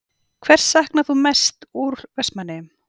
Hvers saknarðu mest úr Vestmannaeyjum?